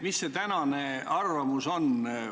Mis see tänane arvamus on?